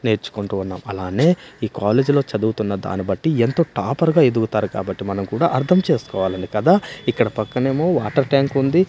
నేర్చుకుంటూ ఉన్నాం అలానే ఈ కాలేజీ లో చదువుతున్న దాని బట్టి ఎంతొ టాపర్ గా ఎదుగుతారు కాబట్టి మనం కూడా అర్థం చేసుకోవాలనే కదా ఇక్కడ పక్కనేమో వాటర్ ట్యాంకుంది .